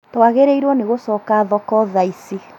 Twagĩrĩirwo nĩ gũcoka thoko thaa ici